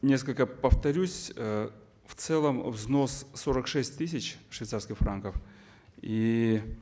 несколько повторюсь э в целом взнос сорок шесть тысяч швейцарских франков и